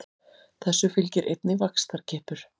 Þessu fylgir einnig vaxtarkippur.